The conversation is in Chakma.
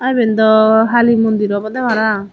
iben dw hali mondir obode parapang.